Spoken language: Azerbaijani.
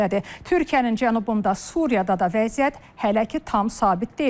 Türkiyənin cənubunda Suriyada da vəziyyət hələ ki tam sabit deyil.